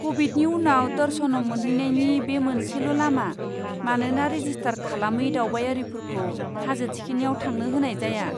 क'बिडनि उनाव दर्शनम मोनहैनायनि बे मोनसेल' लामा, मानोना रेजिस्टार खालामै दावबायारिफोरखौ हाजो थिखिनियाव थांनो होनाय जाया।